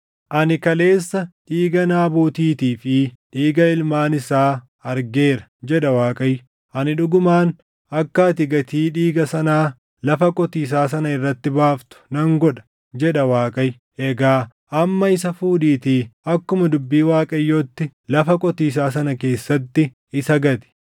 ‘Ani kaleessa dhiiga Naabotiitii fi dhiiga ilmaan isaa argeera, jedha Waaqayyo; ani dhugumaan akka ati gatii dhiiga sanaa lafa qotiisaa sana irratti baaftu nan godha’ jedha Waaqayyo. Egaa amma isa fuudhiitii akkuma dubbii Waaqayyootti lafa qotiisaa sana keessatti isa gati.”